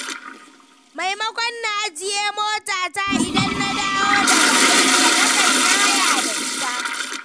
Maimakon na ajiye motata idan na dawo daga aiki, nakan yi haya da ita.